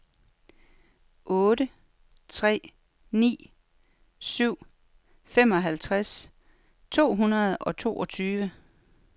otte tre ni syv femoghalvtreds to hundrede og toogtyve